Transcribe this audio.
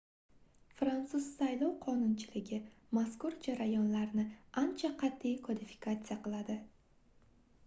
fransuz saylov qonunchiligi mazkur jarayonlarni ancha qatʼiy kodifikatsiya qiladi